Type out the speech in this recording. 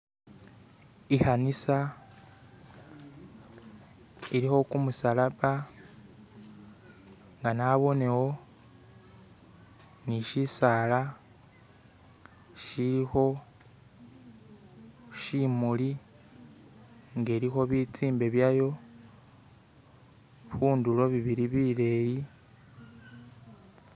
ikhanisa iliho kumusalaba nga nabonewo nishisaala shiliho shimuli ngeliho bitsimbe byayo hundulo bibili bileyi